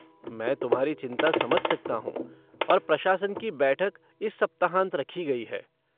मैं तुम्हारी चिंता समझ सकता हूँ और प्रशासन की बैठक इस सप्ताहांत रखी गई है।